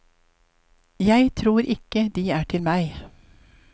Jeg tror ikke de er til meg.